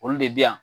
Olu de bɛ yan